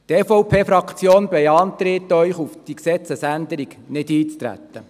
Die EVP-Fraktion beantragt Ihnen, auf diese Gesetzesänderung nicht einzutreten.